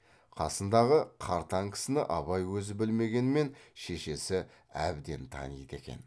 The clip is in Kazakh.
қасындағы қартаң кісіні абай өзі білмегенмен шешесі әбден таниды екен